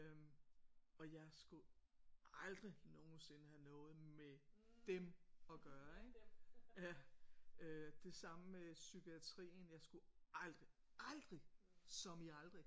Øh og jeg skulle aldrig nogensinde have noget med dem at gøre ja det samme med psykiatrien jeg skulle aldrig aldrig som i aldrig